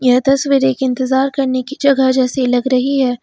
यह दस बजे की इंतजार करने की जगह जैसी लग रही है।